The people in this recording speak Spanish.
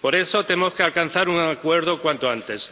por eso tenemos que alcanzar un acuerdo cuanto antes.